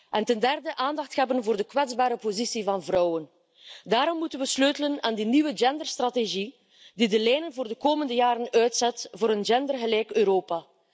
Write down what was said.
En ten derde, aandacht hebben voor de kwetsbare positie van vrouwen. Daarom moeten we sleutelen aan die nieuwe genderstrategie die de lijnen voor de komende jaren uitzet voor een gendergelijk Europa.